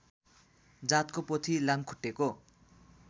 जातको पोथी लामखुट्टेको